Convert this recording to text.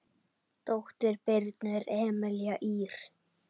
Dóttir Birnu er Emelía Ýr.